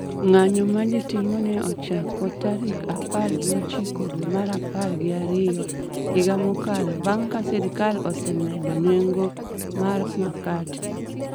Ng'anyo ma ji timo ne ochako tarik apar gi ochiko dwe mar apar gi ariyo higa mokalo bang’ ka sirkal osemedo nengo mar makate